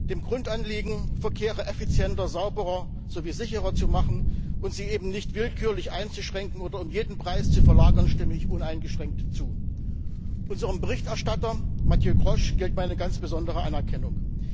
Dem Grundanliegen, Verkehre effizienter, sauberer und sicherer zu machen und sie nicht willkürlich einzuschränken oder um jeden Preis zu verlagern, stimme ich uneingeschränkt zu. Unserem Berichterstatter, Mathieu Grosch, gilt meine ganz besondere Anerkennung.